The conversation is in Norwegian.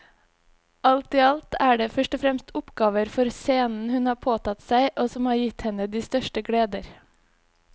Alt i alt er det først og fremst oppgaver for scenen hun har påtatt seg og som har gitt henne de største gleder.